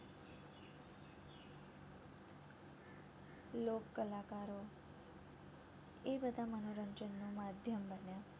લોક કલાકારો એ બધા મનોરંજનનું માધ્યમ બન્યા